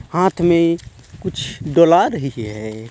हाथ मे कुछ डोला रही है.